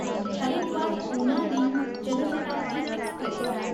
Haridwar Una link Jan Shatabdi Express